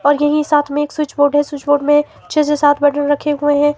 और यही साथ में एक स्विच बोर्ड है स्विच बोर्ड में छे से सात बटन रखे हुए हैं।